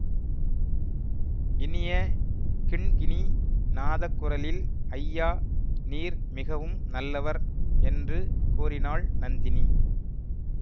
இனிய கிண்கிணி நாதக்குரலில் ஐயா நீர் மிகவும் நல்லவர் என்று கூறினாள் நந்தினி